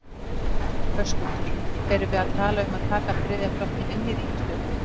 Höskuldur: Erum við að tala um að taka þriðja flokkinn inn í ríkisstjórn?